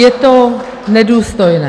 Je to nedůstojné!